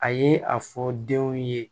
A ye a fɔ denw ye